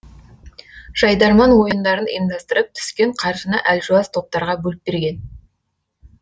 жайдарман ойындарын ұйымдастырып түскен қаржыны әлжуаз топтарға бөліп берген